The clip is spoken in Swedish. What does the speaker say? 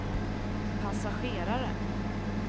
passagerare